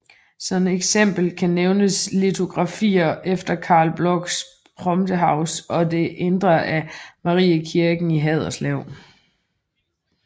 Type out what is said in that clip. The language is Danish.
Som eksempler kan nævnes litografier efter Carl Blochs Prometheus og Det Indre af Mariekirken i Haderslev